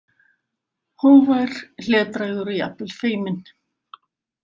Hógvær, hlédrægur, jafnvel feiminn.